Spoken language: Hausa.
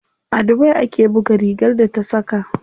A dubai ake buga rigar da ta saka.